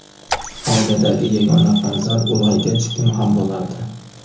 Oiladagi yagona farzand ulg‘aygach kim ham bo‘lardi?